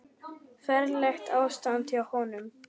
Ferlegt ástand hjá honum.